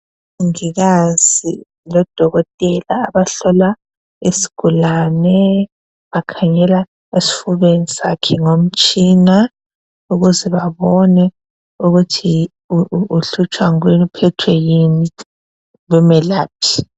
Umongikazi lodokotela abahlola isigulane bakhangela esifubeni sakhe ngomtshina ukuze babone ukuthi uhlutshwa yini, uphethwe yini bemelaphe.